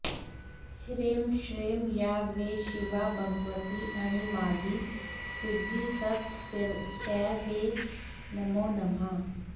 ह्रीं श्रीं या वै शिवा भगवती अणिमादिसिद्धिस्तस्यै वै नमो नमः